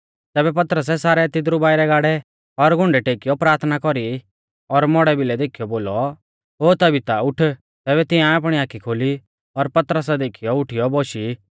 तैबै पतरसै सारै तिदरु बाइरै गाड़ै और घुंडै टेकीऔ प्राथना कौरी और मौड़ै भिलै देखीयौ बोलौ ओ तबीता उठ तैबै तिंआऐ आपणी आखी खोली और पतरसा देखीयौ उठीयौ बोशी